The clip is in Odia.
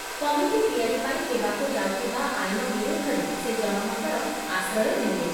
କମିଟି ତିଆରି ପାଇଁ ହେବାକୁ ଯାଉଥିବା ଆଇନ ବିରୁଦ୍ଧରେ ସେ ଜନମତର ଆଶ୍ରୟ ନେଲେ ।